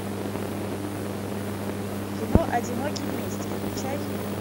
кино одиноки вместе включай